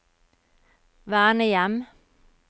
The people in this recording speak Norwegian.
vernehjem